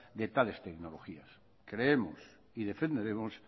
de tales tecnologías creemos y defenderemos